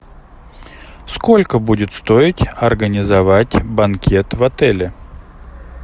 сколько будет стоить организовать банкет в отеле